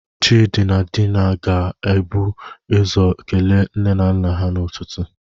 Chidi na Dina ga-ebu ụzọ kelee nne na nna ha n'ụtụtụ.